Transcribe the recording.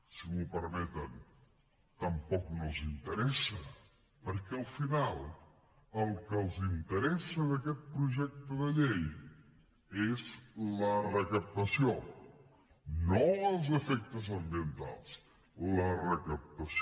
si m’ho permeten tampoc no els interessa perquè al final el que els interessa d’aquest projecte de llei és la recaptació no els efectes ambientals la recaptació